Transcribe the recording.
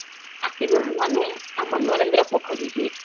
ଅସିଗନୁ ଆମେ ଆମ ନରେନ୍ଦ୍ର ପୋଖରୀ କି